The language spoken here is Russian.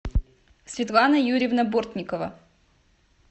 светлана юрьевна бортникова